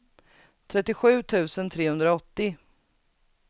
trettiosju tusen trehundraåttio